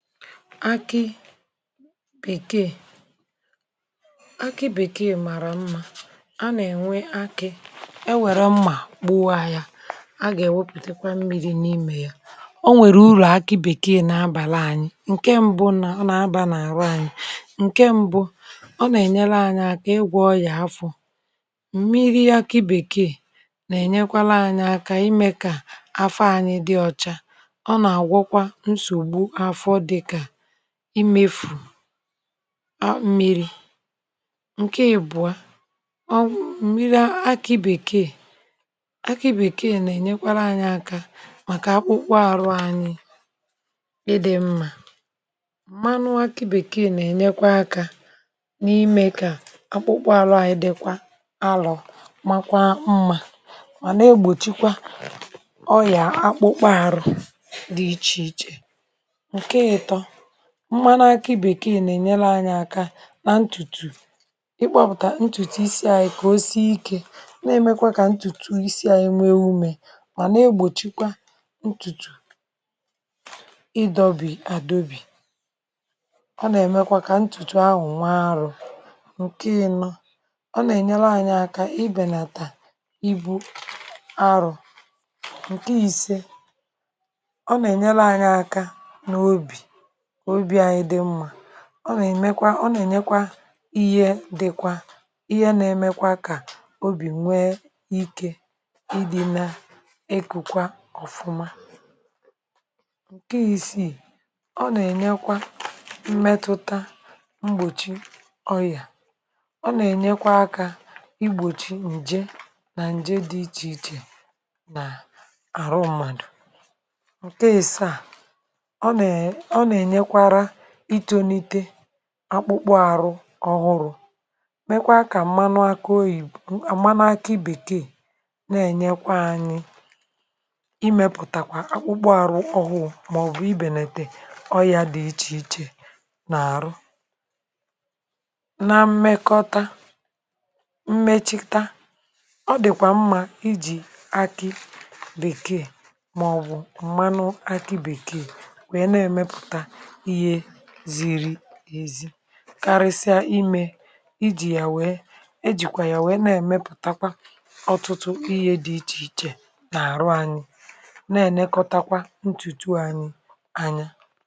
akị bèkee akị bèkee màrà mmȧ a nà-ènwe akị̇ e nwèrè mmà gbuwa ya a gà-èwepùtekwa mmiri n’imė ya. O nwèrè urù akị bèkee nà-abàla ànyị ǹke mbụ nà ọ nà-abȧ n’àrụ anyị ǹke mbụ ọ nà-ènyere ànyị àkà ịgwọ̇ ọyà afọ̇, mmiri akị bèkee nà-ènyekwa laa anyị aka imė kà afọ ȧnyị dị ọcha ọ agwọkwa nsogbụ afọ dika imėfù mmíri̇, ǹke ibụ́ọ ọ m̀miri akị bèkee akị bèkee nà-ènyekwara ȧnyị̇ aka màkà akpụkpọ àrụ anyi ịdị̇ mmȧ, m̀manụ akị bèkee nà-ènyekwa aka n’imė kà akpụkpọ àrụ ànyị dịkwa alọ̀ makwa mmȧ màna egbòchikwa ọyà akpụkpọ àrụ̇ dị ịchị ịchị̇, nke itọ mmȧnụ akị bèkeè nà-ènyere anyị aka nà ntùtù i kpọpụ̀tà ntùtù isi à i kà ose ike na-emekwa kà ntùtù isi à enwe ume mà na-egbòchikwa ntùtù ịdọ̇ bì àdọbì. Ọ nà-èmekwa kà ntùtù ahụ̀ nwaàrụ̀, ǹke i̇nọ ọ nà-ènyere anyị aka ibènàta ịbụ̇ arụ̀, ǹke i̇se ọ nà-ènyere anyị aka nà obì ka obi anyị dị mma, ọ nà-èmekwa ọ nà-ènyekwa ihe dịkwa ihe nà-emekwa kà obì nwee ike ịdị̇ na ịkụ̇kwa ọ̀fụma, ǹke isiì ọ nà-ènyekwa mmetụta mgbòchi ọyà ọ nà-ènyekwa akȧ igbòchi ǹje nà ǹje dị ichè ichè nà àrụ mmadù, ǹke isa ọ na enyekwara à ịtonite akpụkpọ arụ ọhụrụ mekwa ka mmanụ akụ oyìbo, mmanụ akị bekee na-ènyekwa anyị imėpụ̀takwa akpụkpọ arụ ọhụụ maọbụ̀ ibèlà tè ọyà dị̀ ichè ichè nà-àrụ. Na mmekọta mmechita ọ dị̀kwà mmà iji̇ akị bèkee maọbụ̀ mmanụ akị bèkee wee na emepụta ịhe zịrị ezị karịsịa imė iji̇ ya wèe e jìkwà ya wèe na-èmepùtakwa ọtụtụ ihe dị ichèichè na-àrụ anyị na-enekọtakwa ǹtùtù anyị̇ anya.